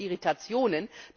Es gab nur Irritationen.